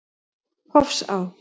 Hofsá